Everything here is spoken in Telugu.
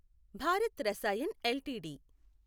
భారత్ రసాయన్ ఎల్టీడీ